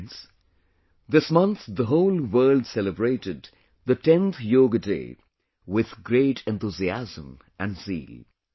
Friends, this month the whole world celebrated the 10th Yoga Day with great enthusiasm and zeal